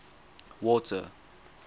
water